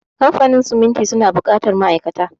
Kamfanin siminti suna buƙatar ma'aikata.